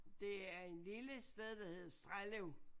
Det er en lille sted der hed Strellev